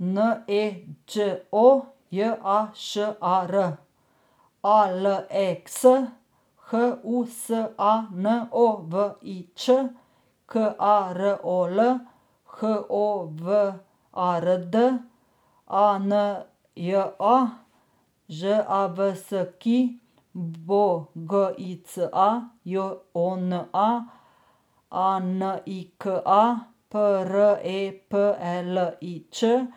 N E Đ O, J A Š A R; A L E X, H U S A N O V I Ć; K A R O L, H O W A R D; A N J A, Ž A V S K I; B O G I C A, J O N A; A N I K A, P R E P E L I Ć; F